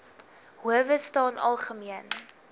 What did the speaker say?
howe staan algemeen